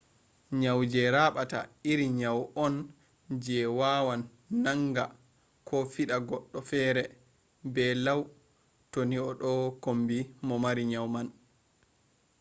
nyau je raɓata iri nyau on je wawan nanga ko fiɗa goɗɗo fere be law to ni a ɗo kombi mo mari nyau man